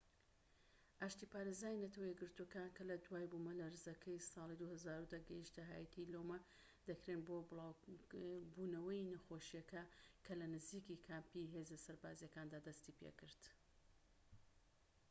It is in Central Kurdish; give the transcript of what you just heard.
ئاشتی پارێزانی نەتەوە یەکگرتووەکان کە لە دوای بوومەلەرزەکەی ساڵی 2010 گەیشتنە هاییتی لۆمە دەکرێن بۆ بڵاوبوونەوەی نەخۆشیەکە کە لە نزیکی کامپی هێزە سەربازیەکان دەستیپێکرد